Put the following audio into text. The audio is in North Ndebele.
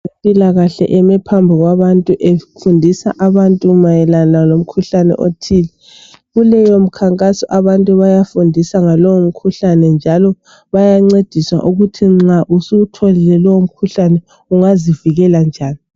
Abempilakahle beme phambi kwabantu efundisa abantu mayelana lomkhuhlane othile kuleyo mkhankaso abantu bayafundisa ngaloyo mkhuhlane bayancediswa ukuthi nxa usuwutholile lowo mkhuhlane ungazivikela njani